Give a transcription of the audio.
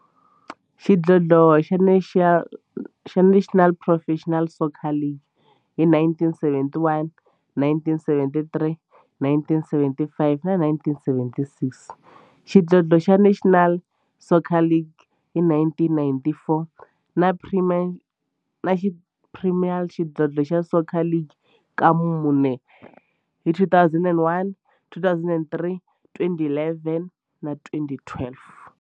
xidlodlo xa National Professional Soccer League hi 1971, 1973, 1975 na 1976, xidlodlo xa National Soccer League hi 1994, na Premier Xidlodlo xa Soccer League ka mune, hi 2001, 2003, 2011 na 2012.